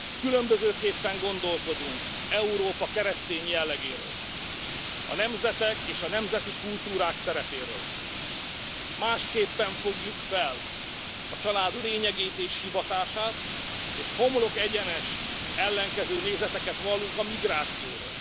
Különbözőképpen gondolkodunk Európa keresztény jellegéről, a nemzetek és a nemzeti kultúrák szerepéről, másképpen fogjuk fel a család lényegét és hivatását, és homlokegyenest ellenkező nézeteket vallunk a migrációról.